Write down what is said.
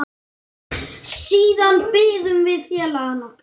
Siðan biðum við félaga okkar.